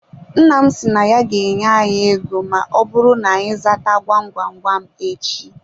Nna m si na ya ga-enye anyị ego ma ọbụrụ na-anyị zata gwam gwam gwam echi.